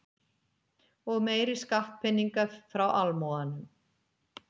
Og meiri skattpeninga frá almúganum.